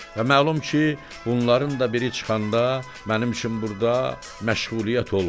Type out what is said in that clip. Və məlum ki, bunların da biri çıxanda mənim üçün burda məşğuliyyət olmasın.